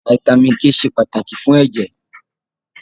Fítámìnì K ṣe pàtàkì fún ẹ̀jẹ̀.